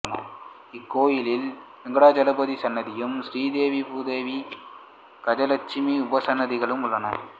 இக்கோயிலில் வெங்கடாஜலபதி சன்னதியும் ஸ்ரீதேவி பூதேவி கஜலெட்சுமி உபசன்னதிகளும் உள்ளன